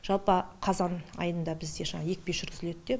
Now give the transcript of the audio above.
жалпы қазан айында бізде жаңа екпе жүргізілдеді де